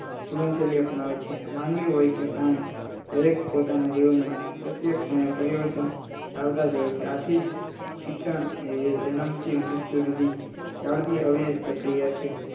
માનવી હોય કે પ્રાણી દરેક પોતાના જીવન માં પ્રત્યક્ષ ક્ષણે પરિવર્તન લાવતા જ હોય છે આથી જ શિક્ષણ એ જન્મ થી મૃત્યુ સુધી ચાલતી આવૃત પ્રક્રિયા છે